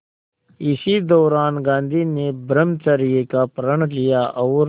इसी दौरान गांधी ने ब्रह्मचर्य का प्रण लिया और